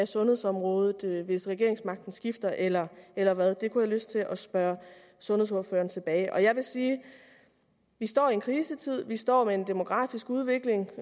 sundhedsområdet hvis regeringsmagten skifter eller eller hvad det kunne lyst til at spørge sundhedsordføreren tilbage om jeg vil sige at vi står i en krisetid vi står med en demografisk udvikling